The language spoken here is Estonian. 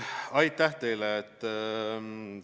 Aitäh teile!